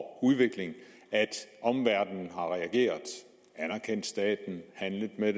og udvikling at omverdenen har reageret anerkendt staten handlet med